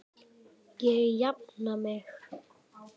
Ég jafna mig.